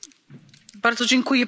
Panie Przewodniczący!